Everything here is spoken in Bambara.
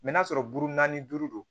n'a sɔrɔ buru na ni duuru don